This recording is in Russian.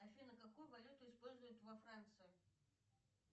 афина какую валюту используют во франции